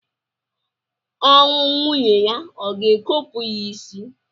Ọnwụ nwunye ya o ga-ekopu ya isi?